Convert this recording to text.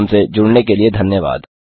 हमसे जुड़ने के लिए धन्यवाद